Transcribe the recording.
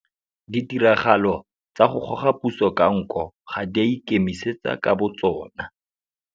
Ditiragalo tsa go goga puso ka nko ga di a ikemisa ka botsona.